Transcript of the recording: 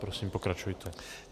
Prosím, pokračujte.